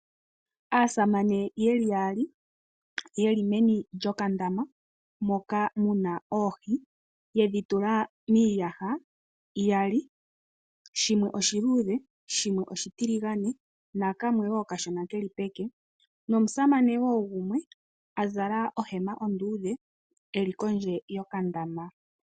Aasamane ye li yaali ye li meni lyokandama moka mu na oohi ye dhi tula miiyaha iyali, shimwe oshiluudhe shimwe oshitiligane nakamwe wo okashona ke li peke. Nomusamane wo gumwe a zala ohema onduudhe e li kondje yokandama.